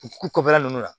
U ku kɔfɛla ninnu na